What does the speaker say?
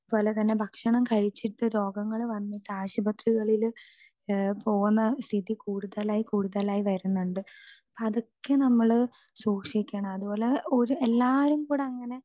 speaker 2 പോലെ തന്നെ പലതരം ഭക്ഷണം കഴിച്ചിട്ട് രോഗങ്ങൾ വന്നിട്ട് ആശുപത്രീകളില് പോവണ സ്ഥിതി കൂടുതലായി കൂടുതലായി വരുന്നുണ്ട് അപ്പൊ അതൊക്കെ നമ്മള് സൂക്ഷിക്കണം അതുപോലെ എല്ലാരും കൂടെ അങ്ങനെ